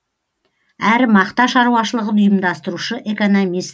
әрі мақта шаруашылығын ұйымдастырушы экономист